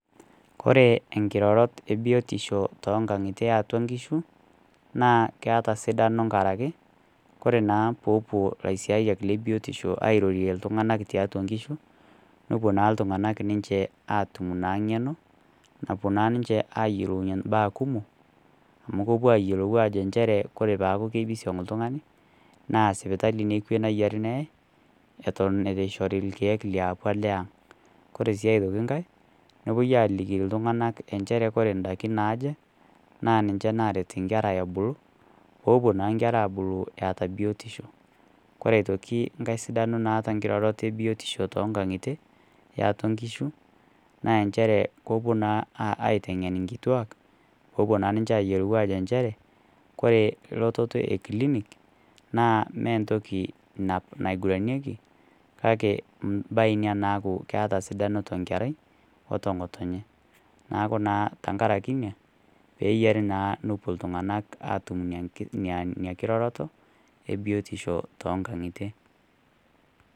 Kore enkirorot e biotisho too inkang'itie e atua inkishu , naa keata sidano enkaraki Kore naa peepuo ilaisiayiak le biotisho airorie iltung'ana tiatua inkishu, nepuo naa iltung'ana naa ninche atum naa ng'eno, napuo naa ninche ayiolounye naa imbaa kumok, amu epuo ayiolou njere Kore etaa pisiong' l'tungani naa sipitali nekwe neyieare neyai, Eton eitu eishoori ilkeek liopa le ang'. Kore sii aitoki ng'ai, nepuoi aliki iltung'ana enchere Kore indaiki naaje, naa ninche naaret inkera ebulu, peepuo naa inkera aabulu eata biotisho. Kore aitoki enkai sidano naata nkiroroto e biotisho too inkang'itie e atua inkishu naa enchere kepuo naa aiteng'en inkituak peepuo naa ninche ayielou ajo enchere, kore elototo e klinik, naa mee entoki naiguranieki, kake mbae Ina naaku eata sidano too inkerai o to ng'oto enye, neaku naa tenkaraki inia, peeyiarie naa peepuo iltung'anak atum Ina nkiroroto, e biotisho too ngang'itie.